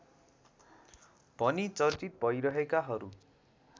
भनी चर्चित भइरहेकाहरू